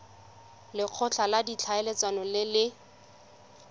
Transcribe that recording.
lekgotla la ditlhaeletsano le le